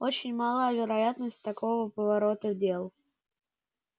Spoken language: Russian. очень мала вероятность такого поворота дел